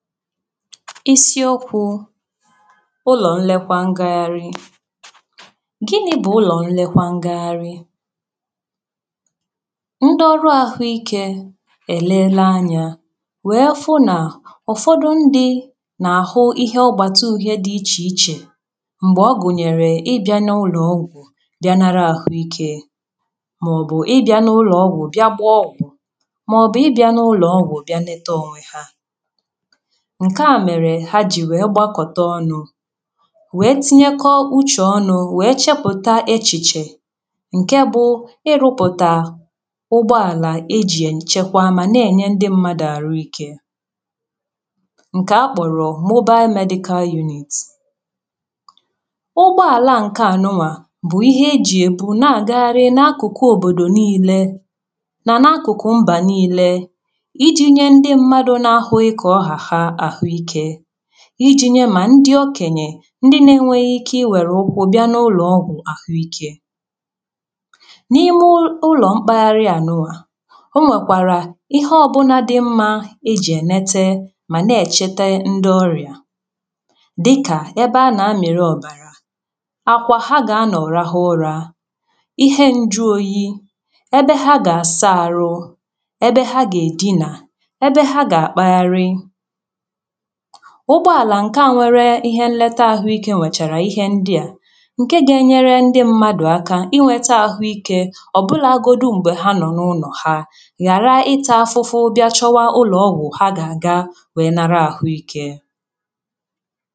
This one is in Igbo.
isiokwū ụlọ̀ nlekwa ngagharị gịnị̄ bụ̀ ụlọ̀ nlekwa ngagharị nde ọrụ àhụikē è leele anya wéé fụ nà ụ̀fọdụ ndi nà-àhụ ihe ọ̀gbàtụ̀ uhiè di ichèichè m̀gbè ọ gụ̀nyèrè ị bị̀a n’ụlọ̀ọgwụ̀ bị̀a nara àhụike màọbụ̀ ị bị̀a n’ụlọ̀ọgwụ̀ bịá gbaa ọgwụ̀ màọbụ̀ ị bị̀a n’ụlọ̀ọgwụ̀ bị̀a leta ònwe ha ǹkèa mèrè ha jì wee gbakọta ọnụ̄ wéé tínyékọ́ úchè ọ́nụ̄ wéé chépụ̀tá échìchè ǹkè bụ ị rụ̄pụ̀tà ụgbọàlà e jì èchekwa mà nà-ènye ndi mmadụ̀ àhụikē ǹkè a kpọ̀rọ̀ Mobile Medical Unit ụgbọàlà a ǹkèanunwà bụ̀ ihe e jì e bu na-agagharị n’akụ̀kụ̀ òbòdò niilē mà n’akụ̀kụ̀ mbà niilē i jī nye ndi mmadụ̀ na-àhụghị̄ ǹkè ọ hà ha àhụikē i jī nye ma ndi okènyè ndi na-enwēghī ike i wèrè ụkwụ bị̀a n’ụlọ̀ọgwụ̀ àhụikē ǹ’ime ụlọ̀ mkpagharịànuṅà o nwèkwàrà ihe ọ̀bụ̀là dị mmā e jì ènete mà nà-èchete ndi ọrịà dịkà ebe a nā-àmịrị ọ̀bàrà àkwà ha gà-anọ̀ rahị ụra íhe ǹjuoyī ebe ha gà-àsa àrụ ebe ha gà-èdinà ebe ha gà-àkpagharị ụ̀gbọàlà ǹkè a nwere ihe nleta àhụikē nwèchàrà ihe ndi à ǹkè ga-enyere ndi m̀màdụ̀ aka inwētā àhụikē ọ̀bụlàgodu m̀gbè ha nọ̀ n’ụlọ̀ ha ghàra ịtā afụfụ bị̀a chọwa ụlọ̀ọgwụ̀ ha gà-àga wee nara àhụikē